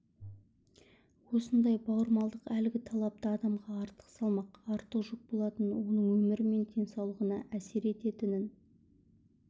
осындай бауырмалдық әлгі талапты адамға артық салмақ артық жүк болатынын оның өмірі мен денсаулығына әсер ететінін